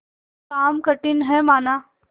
काम कठिन हैमाना